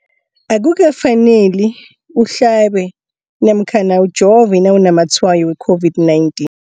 Akuka faneli uhlabe namkha ujove nawu namatshayo we-COVID-19.